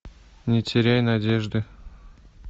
не теряй надежды